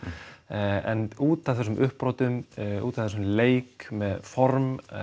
en út af þessum uppbrotum út af þessum leik með form